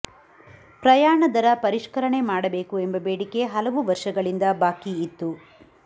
ಪ್ರಯಾಣ ದರ ಪರಿಷ್ಕರಣೆ ಮಾಡಬೇಕು ಎಂಬ ಬೇಡಿಕೆ ಹಲವು ವರ್ಷಗಳಿಂದ ಬಾಕಿ ಇತ್ತು